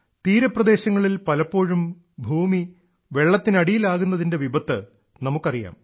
തീരപ്രദേശങ്ങളിൽ പലപ്പോഴും ഭൂമി വെള്ളത്തിനടിയിലാകുന്നതിന്റെ വിപത്ത് നമുക്ക് അറിയാം